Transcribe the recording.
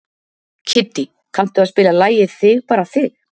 Kiddý, kanntu að spila lagið „Þig bara þig“?